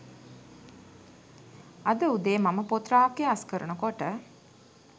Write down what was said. අද උදේ මම පොත් රාක්කය අස්කරනකොට